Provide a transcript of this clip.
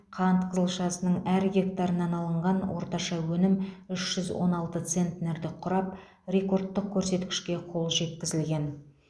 қант қызылшасының әр гектарынан алынған орташа өнім үш жүз он алты центнерді құрап рекордтық көрсеткішке қол жеткізілген